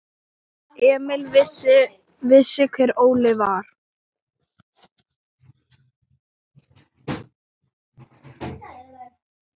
Emil vissi hver Óli var.